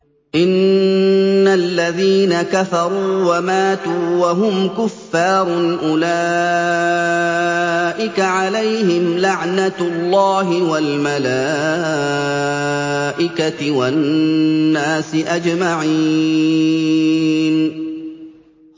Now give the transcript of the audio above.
إِنَّ الَّذِينَ كَفَرُوا وَمَاتُوا وَهُمْ كُفَّارٌ أُولَٰئِكَ عَلَيْهِمْ لَعْنَةُ اللَّهِ وَالْمَلَائِكَةِ وَالنَّاسِ أَجْمَعِينَ